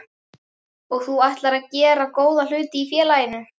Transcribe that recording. Og þú ætlar að gera góða hluti í félaginu?